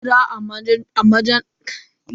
Hira a manhajar WhatsApp aikin zamantakewa ne.